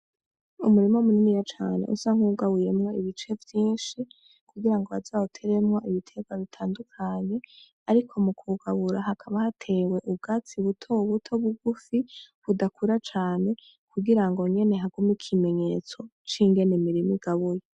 Umurima muniniya cane usa nkuwugabuyemwo ibice vyinshi kugirango baze bawuteremwo ibiterwa bitandukanye, ariko mukuwugabura hakaba hatewe ubwatsi buto buto bugufi budakura cane kugirango nyene hagume ikimenyetso cingene imirima igabuye.